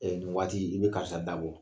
nin waati, i be karisa dabɔ.